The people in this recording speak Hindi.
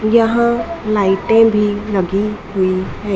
यहां लाईटें भी लगी हुई हैं।